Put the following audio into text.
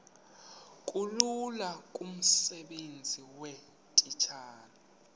bulula kumsebenzi weetitshala